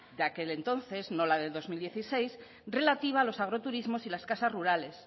de aquel entonces no la de dos mil dieciséis relativa a los agroturismos y las casas rurales